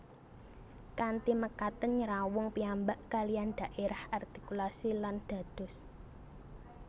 Kanthi mekaten nyrawung piyambak kaliyan dhaérah artikulasi lan dados